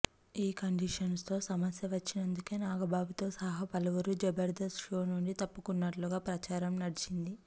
ఈ కండిషన్స్ తో సమస్య వచ్చినందుకే నాగబాబుతో సహా పలువురు జబర్దస్త్ షో నుంచి తప్పుకున్నట్టుగా ప్రచారం నడిచింది